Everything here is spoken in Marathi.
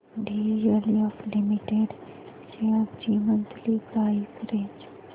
डीएलएफ लिमिटेड शेअर्स ची मंथली प्राइस रेंज